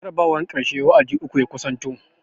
Jarabawan karshen wa'adi uku ya kusanto